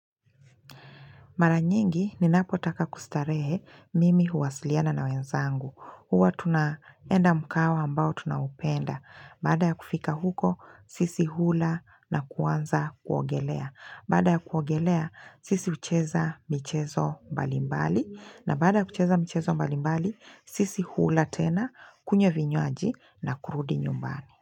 Mara nyingi, ninapotaka kustarehe mimi huwasiliana na wenzangu. Huwa tunaenda mkahawa ambao tunaupenda. Baada ya kufika huko, sisi hula na kuanza kuogelea. Bada ya kuogelea, sisi hucheza michezo mbalimbali. Na baada ya kucheza michezo mbalimbali, sisi hula tena, kunywa vinywaji na kurudi nyumbani.